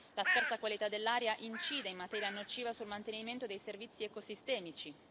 La scarsa qualità dell'aria incide in maniera nociva sul mantenimento dei servizi ecosistemici.